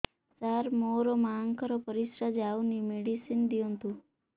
ସାର ମୋର ମାଆଙ୍କର ପରିସ୍ରା ଯାଉନି ମେଡିସିନ ଦିଅନ୍ତୁ